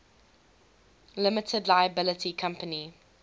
limited liability company